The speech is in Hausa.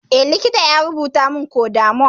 Eh, likita ya rubutamin codamol